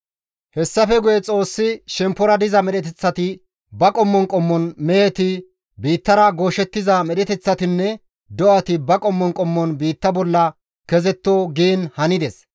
Hessafe guye Xoossi, «Shemppora diza medheteththati ba qommon qommon meheti, biittara gooshettiza medheteththatinne do7ati ba qommon qommon biitta bolla kezetto» giin hanides.